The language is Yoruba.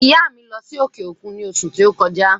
ìyá à mi lọ́ sí òkè òkun ní òṣù ti o kọjá.